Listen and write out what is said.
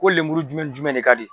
Ko lemuru jumɛn ni jumɛn de ka di ?